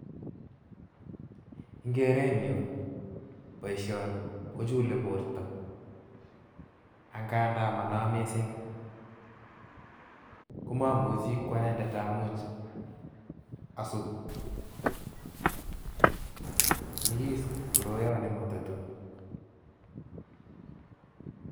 Eng' kerenyun boishoni kochule borto ang'andan monoo mising komomuchi anendet amuch asut, nyikis koroon nematatun.